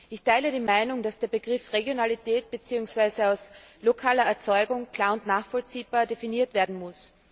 Ich teile die Meinung, dass der Begriff Regionalität beziehungsweise aus lokaler Erzeugung klar und nachvollziehbar definiert werden muss.